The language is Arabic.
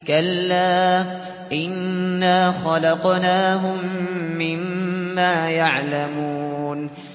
كَلَّا ۖ إِنَّا خَلَقْنَاهُم مِّمَّا يَعْلَمُونَ